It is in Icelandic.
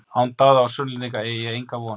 Án Daða og Sunnlendinga eygi ég enga von!